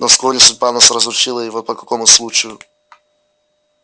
но вскоре судьба нас разлучила и вот по какому случаю